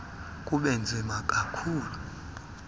kube nzima kakhulu